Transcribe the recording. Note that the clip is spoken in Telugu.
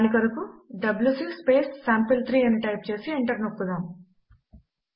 దాని కొరకు డబ్యూసీ సాంపిల్3 అని టైప్ చేసి ఎంటర్ నోక్కుదాం